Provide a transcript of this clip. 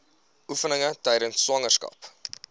oefeninge tydens swangerskap